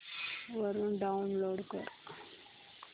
वरून डाऊनलोड कर